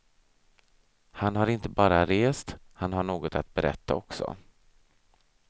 Han har inte bara rest, han har något att berätta också.